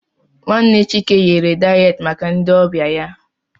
Nwanne Chike ghere dayet maka ndị ọbịa ya.